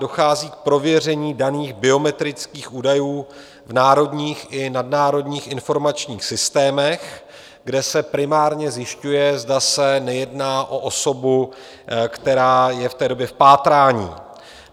Dochází k prověření daných biometrických údajů v národních i nadnárodních informačních systémech, kde se primárně zjišťuje, zda se nejedná o osobu, která je v té době v pátrání.